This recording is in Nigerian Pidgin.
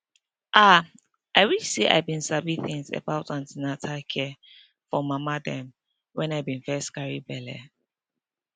ah i wish say i been sabi things about an ten atal care for mama dem wen i been first carry belle